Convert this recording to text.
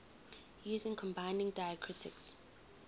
using combining diacritics